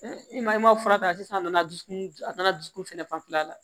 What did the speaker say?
i ma i ma fura ta sisan a nana dusukun a nana dusukun fɛnɛ fanfɛla la